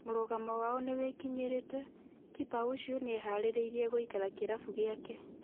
Mũrũgamo wao nĩ wĩkinyirĩte - kipa ũcio nĩeharĩrĩirĩe gũikara kĩrabu gĩake.